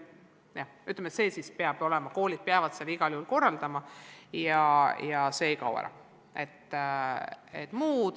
Jah, see peab olema, koolid peavad selle igal juhul korraldama ja see ei kao ära.